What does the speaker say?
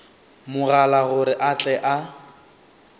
mogala gore a tle a